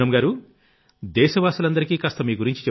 పూనమ్ గారూ దేశ వాసులందరికీ కాస్త మీ